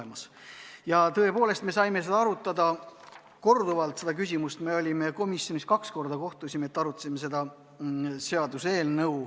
Aga tõepoolest, me saime seda küsimust arutada korduvalt, õigemini me olime komisjoniga koos kaks korda, et arutada seda seaduseelnõu.